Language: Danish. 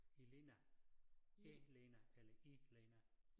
Elena Elena eller Ilena